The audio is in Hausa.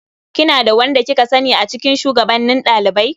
Kina da wanda kika sani a cikin shugabannin ɗalibai?